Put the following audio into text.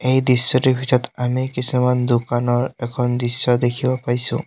এই দৃশ্যটোৰ ভিতৰত আমি কিছুমান দোকানৰ এখন দৃশ্য দেখিব পাইছোঁ।